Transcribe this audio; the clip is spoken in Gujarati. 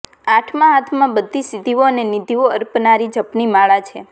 આઠમાં હાથમાં બધી સિધ્ધિઓ અને નિધિઓ અર્પનારી જપની માળા છે